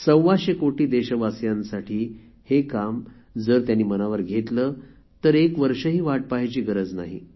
सव्वाशे कोटी देशवासियांसाठी हे काम जर त्यांनी मनावर घेतले तर एक वर्ष वाट पहायची गरज नाही